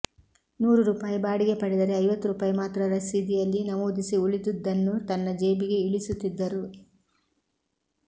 ನೂರು ರೂಪಾಯಿ ಬಾಡಿಗೆ ಪಡೆದರೆ ಐವತ್ತು ರೂಪಾಯಿ ಮಾತ್ರ ರಸೀದಿಯಲ್ಲಿ ನಮೂದಿಸಿ ಉಳಿದುದ್ದನ್ನು ತನ್ನ ಜೇಬಿಗೆ ಇಳಿಸುತ್ತಿದ್ದರು